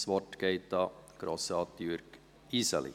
Das Wort geht an Grossrat Jürg Iseli.